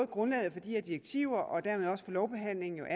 grundlaget for de her direktiver og dermed også for lovbehandlingen er